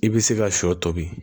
I bɛ se ka sɔ tobi